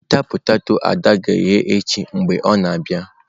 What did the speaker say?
Weta poteto ada ga-eghe echi mgbe ọ na-abịa.